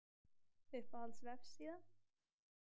Uppáhalds vefsíða?